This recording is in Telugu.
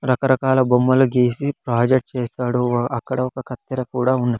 రకరకాల బొమ్మలు గీసి ప్రాజెక్ట్ చేశాడు అక్కడ ఒక కత్తెర కూడా ఉం--